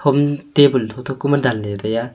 um table tho tho ku ma danley taiya.